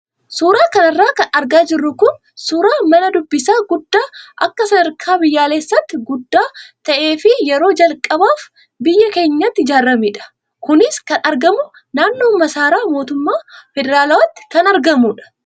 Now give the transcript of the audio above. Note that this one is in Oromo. Suuraa kanarra kan argaa jirru kun suuraa mana dubbisaa guddaa akka sadarkaa biyyoolessaatti guddaa ta'ee fi yeroo calqabaaf biyya keenyatti ijaaramedha. Kunis kan argamu naannoo maasaraa mootummaa federaalaatti kan argamudha.